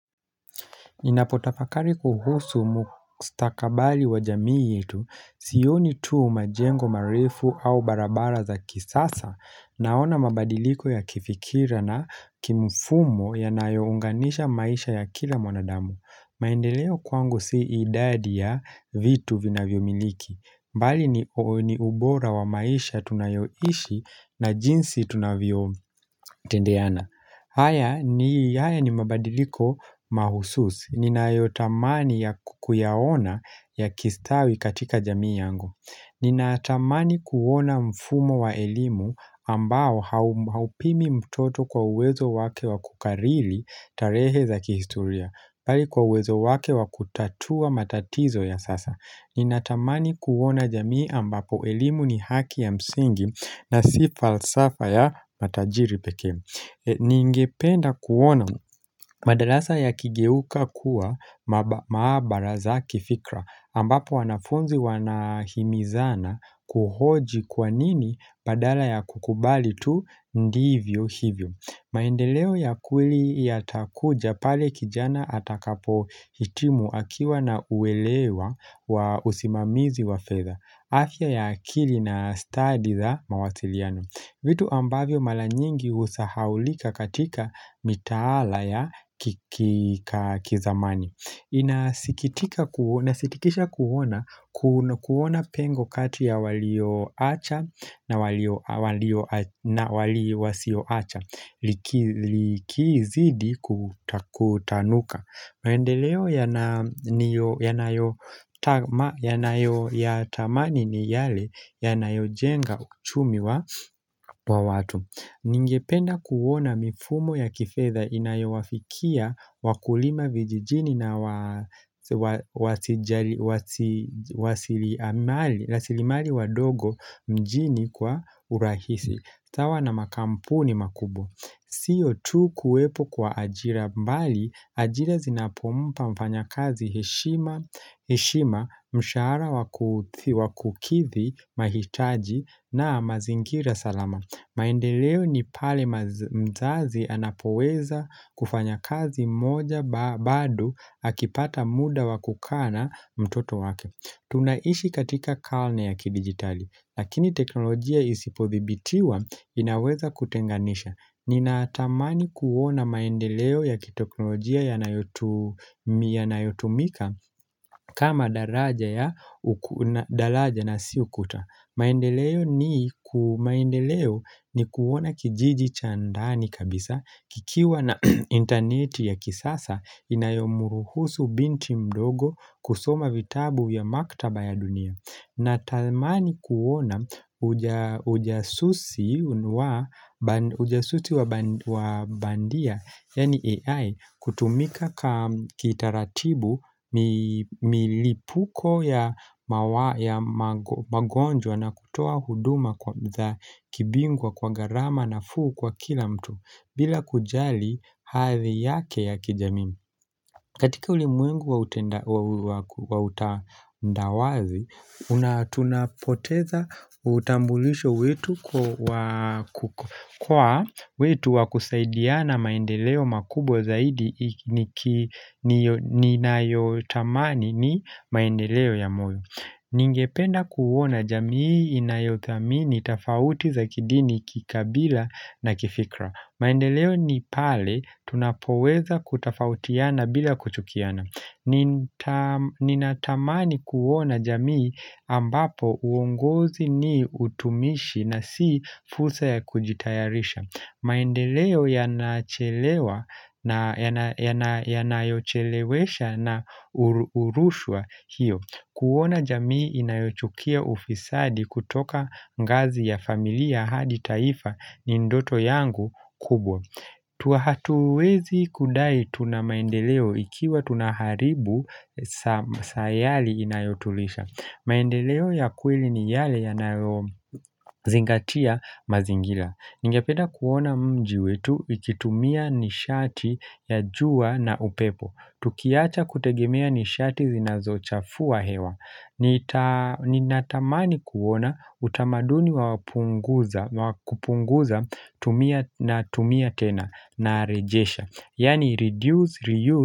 Ninapotafakari kuhusu mkustakabali wa jamii yetu, sioni tu majengo marefu au barabara za kisasa, naona mabadiliko ya kifikira na kimfumo yanayounganisha maisha ya kila mwanadamu. Maendeleo kwangu si idadi ya vitu vinavyomiliki, bali ni ubora wa maisha tunayoishi na jinsi tunavyotendeana. Haya ni yaya ni mabadiliko mahususi. Ninayotamani ya ku kuyaona yakistawi katika jamii yangu. Ninatamani kuona mfumo wa elimu ambao haupimi mtoto kwa uwezo wake wa kukarili tarehe za kihistoria. Pali kwa wezo wake wa kutatua matatizo ya sasa Ninatamani kuona jamii ambapo elimu ni haki ya msingi na si falsafa ya matajiri pekee Ningependa kuona madalasa yakigeuka kuwa maabara za kifikra ambapo wanafunzi wanahimizana kuhoji kwa nini padala ya kukubali tu ndivyo hivyo maendeleo ya kweli yatakuja pale kijana atakapohitimu akiwa na uelewa wa usimamizi wa fedha. Afya ya akili na stadi za mawasiliano. Vitu ambavyo mala nyingi husahaulika katika mitaala ya ki ka kizamani. Inasikitika kuona, nasitikisha kuona, kuona pengo kati ya walioacha na walio na wali wasioacha likizidi kutanuka maendeleo yanayotama, yanayotamani ni yale yanayojenga uchumi wa watu Ningependa kuwona mifumo ya kifedha inayowafikia wakulima vijijini na wa wasijali wasi wasliamali wadogo mjini kwa urahisi. Sawa na makampuni makubwa. Sio tu kuwepo kwa ajira bali, ajira zinapompa mfanyakazi heshima heshima mshahara waku wakukithi mahitaji na mazingira salama. Maendeleo ni pale mzazi anapoweza kufanya kazi moja bado akipata muda wa kukaa na mtoto wake. Tunaishi katika kalne ya kidijitali, lakini teknolojia isipodhibitiwa inaweza kutenganisha. Ninaatamani kuona maendeleo ya kiteknolojia yanayotumika kama daraja ya daraja na si ukuta. Maendeleo ni ku maendeleo ni kuona kijiji cha ndani kabisa kikiwa na interneti ya kisasa inayomuruhusu binti mdogo kusoma vitabu ya maktaba ya dunia. Natalmani kuona ujasusi wa ujasusi wa bandia, yaani AI, kutumika kitaratibu milipuko ya magonjwa na kutoa huduma kwa kibingwa kwa gharama nafuu kwa kila mtu, bila kujali hathi yake ya kijamii. Katika ulimwengu wa utandawazi, tunapoteza utambulisho wetu kwa wetu wa kusaidiana maendeleo makubwa zaidi ninayotamani ni maendeleo ya moyo. Ningependa kuwona jamii inayothamini tafauti za kidini kikabila na kifikra. Maendeleo ni pale tunapoweza kutafautiana bila kuchukiana. Ninatamani kuona jamii ambapo uongozi ni utumishi na si fursa ya kujitayarisha. Maendeleo yanachelewa na yanayochelewesha na urushwa hiyo. Kuona jamii inayochukia ufisadi kutoka ngazi ya familia hadi taifa ni ndoto yangu kubwa Tua hatuwezi kudai tuna maendeleo ikiwa tunaharibu sayali inayotulisha maendeleo ya kweli ni yale yanayozingatia mazingila Ningepeda kuona mji wetu ikitumia nishati ya jua na upepo Tukiacha kutegemea nishati zinazochafua hewa nita Ninatamani kuona utamaduni wapunguza wakupunguza tumia na tumia tena na rejesha Yaani reduce, reuse.